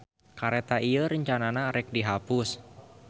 Kareta ieu rencanana rek dihapus.